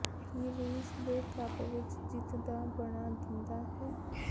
ਕੀ ਰੂਸ ਦੇ ਕੱਪ ਵਿਚ ਜਿੱਤ ਦਾ ਬਣਾ ਦਿੰਦਾ ਹੈ